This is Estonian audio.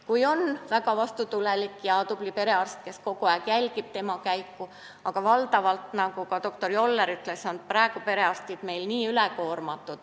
Vahel on inimesel väga vastutulelik ja tubli perearst, kes kogu aeg jälgib tema käekäiku, aga valdavalt, nagu ka doktor Joller ütles, on perearstid meil praegu ülekoormatud.